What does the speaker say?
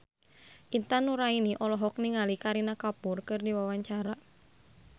Intan Nuraini olohok ningali Kareena Kapoor keur diwawancara